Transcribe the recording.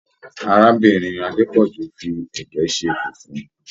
Arábìnrin Adepoju fí ẹgẹ ṣe fufu.